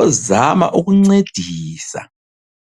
ozama ukuncedisa.